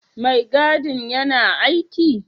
Mai gadin yana aiki?